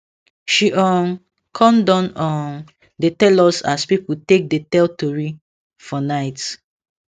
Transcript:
she um con don um dey tell us as people take dey tell tori for night